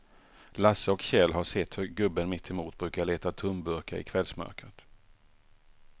Lasse och Kjell har sett hur gubben mittemot brukar leta tomburkar i kvällsmörkret.